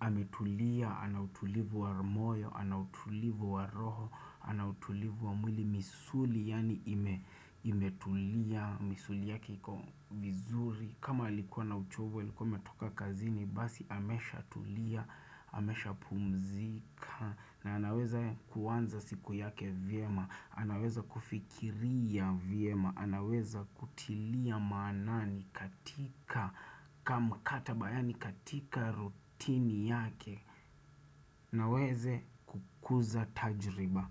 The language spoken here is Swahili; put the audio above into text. ametulia, anautulivu wa rumoyo, anautulivu wa roho, anautulivu wa mwili misuli Yani imetulia, misuli yake iko vizuri. Kama likuwa na uchovu, likuwa ametoka kazini, basi amesha tulia, amesha pumzika. Na anaweza kuanza siku yake vyema. Anaweza kufikiria viema. Anaweza kutilia manani katika kamkataba yani katika rutini yake. Naweze kukuza tajriba.